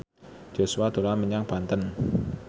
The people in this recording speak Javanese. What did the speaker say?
Joshua dolan menyang Banten